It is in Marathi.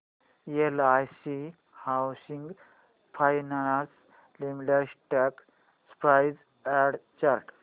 LIC housing finance limited stock price and chart